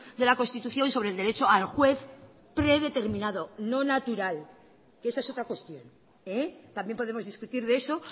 de la constitución sobre el derecho al juez predeterminado no natural que esa es otra cuestión también podemos discutir de eso